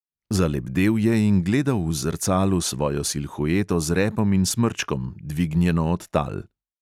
Zalebdel je in gledal v zrcalu svojo silhueto z repom in smrčkom, dvignjeno od tal.